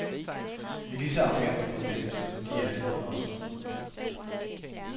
Vi er lige så arrogante mod dem, som de er det mod os.